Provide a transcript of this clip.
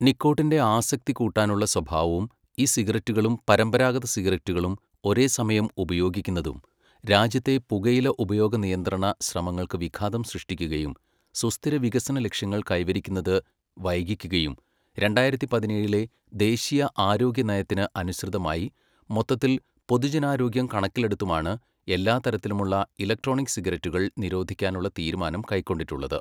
നിക്കോട്ടിന്റെ ആസക്തി കൂട്ടാനുള്ള സ്വഭാവവും, ഇ സിഗരറ്റുകളും പരമ്പരാഗത സിഗരറ്റുകളും ഒരേസമയം ഉപയോഗിക്കുന്നതും, രാജ്യത്തെ പുകയില ഉപയോഗ നിയന്ത്രണ ശ്രമങ്ങൾക്ക് വിഘാതം സൃഷ്ടിക്കുകയും സുസ്ഥിര വികസന ലക്ഷ്യങ്ങൾ കൈവരിക്കുന്നത് വൈകിക്കുകയും, രണ്ടായിരത്തി പതിനേഴിലെ ദേശീയ ആരോഗ്യ നയത്തിന് അനുസൃതമായി, മൊത്തത്തിൽ പൊതുജനാരോഗ്യം കണക്കിലെടുത്തുമാണ് എല്ലാതരത്തിലുമുള്ള ഇലക്ട്രോണിക് സിഗരറ്റുകൾ നിരോധിക്കാനുള്ള തീരുമാനം കൈക്കൊണ്ടിട്ടുള്ളത്.